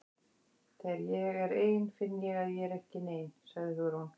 Þegar ég er ein finn ég að ég er ekki nein- sagði Hugrún.